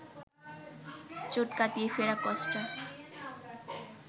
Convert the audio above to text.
চোট কাটিয়ে ফেরা কস্তা